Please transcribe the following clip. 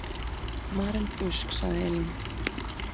Maren Busk, sagði Elín.